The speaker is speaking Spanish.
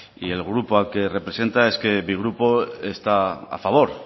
y el grupo al que representa es que mi grupo está a favor